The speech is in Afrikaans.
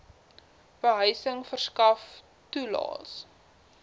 behuising verskaf toelaes